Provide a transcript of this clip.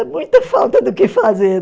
É muita falta do que fazer